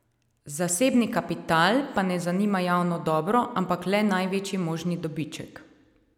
Zasebni kapital pa ne zanima javno dobro, ampak le največji možni dobiček.